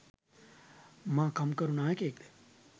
මා කම්කරු නායකයෙක් ද?